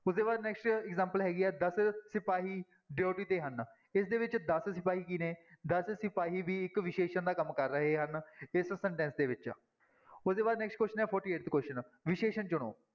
ਉਹਦੇ ਬਾਅਦ next example ਹੈਗੀ ਹੈ ਦਸ ਸਿਪਾਹੀ duty ਤੇ ਹਨ ਇਸਦੇ ਵਿੱਚ ਦਸ ਸਿਪਾਹੀ ਕੀ ਨੇ ਦਸ ਸਿਪਾਹੀ ਵੀ ਇੱਕ ਵਿਸ਼ੇਸ਼ਣ ਦਾ ਕੰਮ ਕਰ ਰਹੇ ਹਨ, ਇਸ sentence ਦੇ ਵਿੱਚ ਉਹਦੇ ਬਾਅਦ next question ਹੈ forty-eighth question ਵਿਸ਼ੇਸ਼ਣ ਚੁਣੋ।